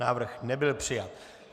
Návrh nebyl přijat.